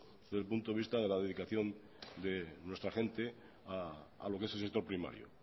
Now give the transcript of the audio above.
desde el punto de vista de la dedicación de nuestra gente a lo que es el sector primario